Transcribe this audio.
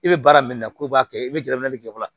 I bɛ baara min na k'o b'a kɛ i bɛ gɛrɛ n'ale tigɛ yɔrɔ la